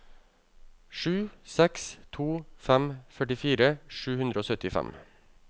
sju seks to fem førtifire sju hundre og syttifem